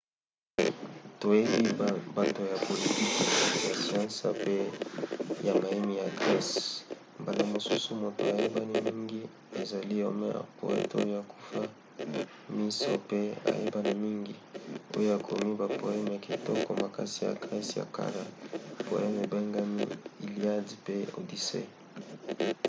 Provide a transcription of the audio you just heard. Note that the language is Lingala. toyebi bato ya politiki ya siansi pe ya mayemi ya grese. mbala mosusu moto ayebani mingi ezali homer poete oyo akufa miso pe ayebana mingi oyo akomi bapoeme ya kitoko makasi ya grese ya kala: poeme ebengami iliad pe odyssey